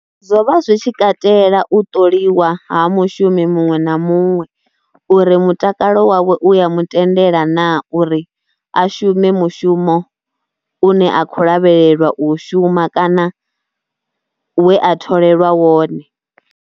Zwo vha zwi tshi katela u ṱoliwa ha mushumi muṅwe na muṅwe uri mutakalo wawe u ya mutendela naa uri a shume mushumo u ne a khou lavhelelwa u shuma kana we a tholelwa wone.